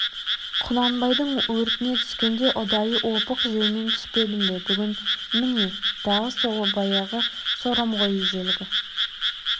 құнанбайдың өртіне түскенде ұдайы опық жеумен түспедім бе бүгін міне тағы сол баяғы сорым ғой ежелгі